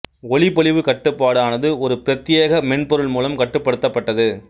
ஒளிப்பொலிவு கட்டுப்பாடு ஆனது ஒரு பிரத்தியேக மென்பொருள் மூலம் கட்டுப்படுத்தப்பட்டது